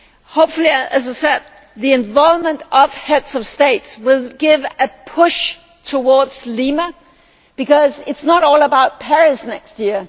Hopefully, as I said, the involvement of Heads of State will give a push towards Lima, because it is not all about Paris next year.